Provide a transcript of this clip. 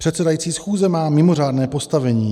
Předsedající schůze má mimořádné postavení.